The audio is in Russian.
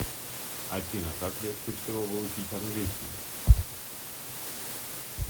афина как легче всего выучить английский